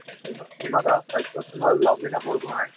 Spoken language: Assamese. হিমা দাস তাৰ পিছত তুমাৰ লাভ্লিনা বৰগোহাঁই